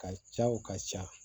Ka caw ka ca